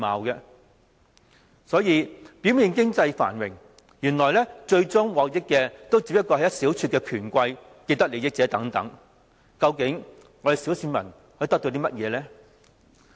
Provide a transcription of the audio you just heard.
香港表面經濟繁榮，原來最終獲益的不過是一小撮權貴和既得利益者，究竟小市民可以得到甚麼呢？